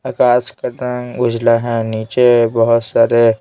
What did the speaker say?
आकाश का रंग उजला है नीचे बहुत सारे--